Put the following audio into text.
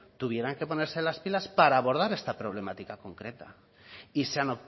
tuvieran que ponerse las pilas para abordar esta problemática concreta y se han